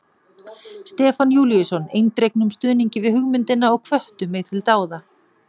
Stefán Júlíusson eindregnum stuðningi við hugmyndina og hvöttu mig til dáða.